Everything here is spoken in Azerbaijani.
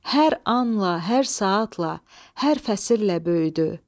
Hər anla, hər saatla, hər fəsillə böyüdü.